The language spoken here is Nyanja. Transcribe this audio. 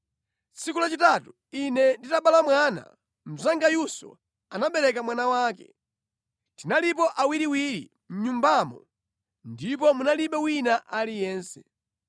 Tsiku lachitatu ine nditabala mwana, mnzangayunso anabereka mwana wake. Tinalipo awiriwiri mʼnyumbamo ndipo munalibe wina aliyense.